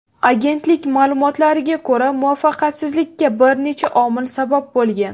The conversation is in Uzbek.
Agentlik ma’lumotlariga ko‘ra, muvaffaqiyatsizlikka bir necha omil sabab bo‘lgan.